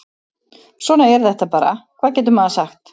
Svona er þetta bara, hvað getur maður sagt?